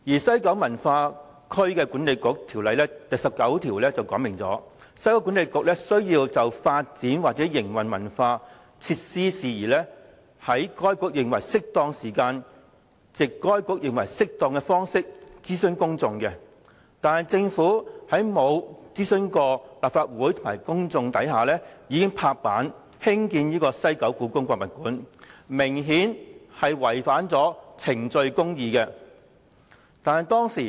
《西九文化區管理局條例》第19條訂明，西九管理局須就發展或營運文化設施的事宜，"在該局認為適當的時間，藉該局認為適當的方式，諮詢公眾"，但政府卻在未經諮詢立法會及公眾的情況下"拍板"興建故宮館，明顯違反了程序公義。